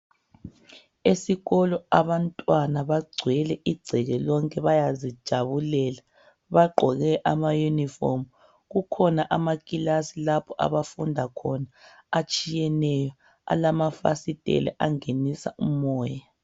Esikolo abantwana bagcwele igceke lonke bayazijabulela, bagqoke amayunifomu. Kukhona amakilasi lapho abafunda khona atshiyeneyo, alamafasitela angena umoya.